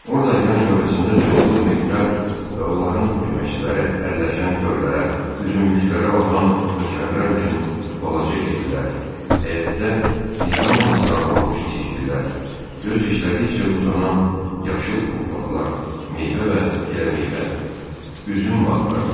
Orda yan-yörəsində çoxlu mehdar və onların köməkçiləri əlləşən tövlələr, üzümlüklərə baxan nökərlər üçün balaca evlər, həyətdə nizamla sıralanmış tikililər, göz işlədikcə uzanan yaşıl otlaqlar, meyvə və giləmeyvə, üzüm bağları vardı.